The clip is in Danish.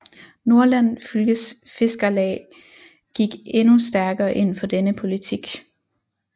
Nordland Fylkes Fiskarlag gik endnu stærkere ind for denne politik